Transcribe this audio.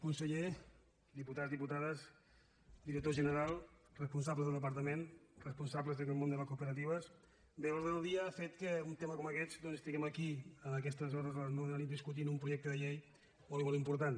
conseller diputats diputades director general responsables del departament responsables del món de les cooperatives bé l’ordre del dia ha fet que en un tema com aquest doncs estiguem aquí en aquestes hores a les nou de la nit discutint un projecte de llei molt i molt important